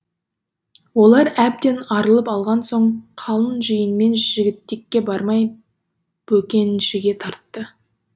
олар әбден арылып алған соң қалың жиынымен жігітекке бармай бөкеншіге тартты